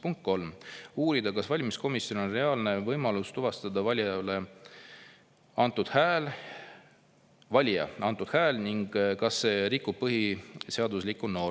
Punkt 3, uurida, kas valimiskomisjonil on reaalne võimalus tuvastada valija antud hääl ning kas see rikub põhiseaduslikke norme.